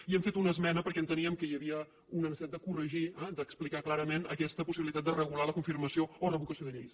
i hi hem fet una esmena perquè enteníem que hi havia una necessitat de corregir d’explicar clarament aquesta possibilitat de regular la confirmació o revocació de lleis